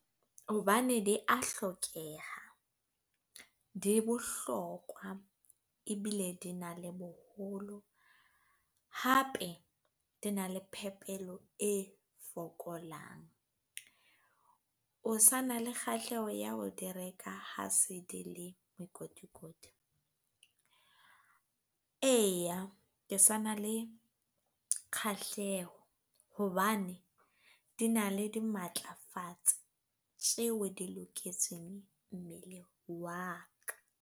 Hobane di a hlokeha, di bohlokwa e bile di na le boholo, hape di na le phepelo e fokolang. O sa na le kgahleho ya ho di reka ha se di le mekotikoti? Eya, ke sa na le kgahleho hobane di na le di matlafatsa tjeo di loketseng mmele wa ka.